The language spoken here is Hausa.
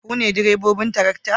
Ku ne direbobin tarakta?